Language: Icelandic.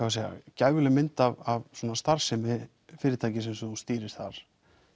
gæfuleg mynd af starfsemi fyrirtækisins sem þú stýrir þar